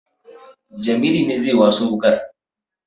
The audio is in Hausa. Jamilu ne zai waso wuƙar